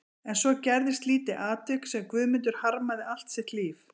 En svo gerðist lítið atvik sem Guðmundur harmaði allt sitt líf.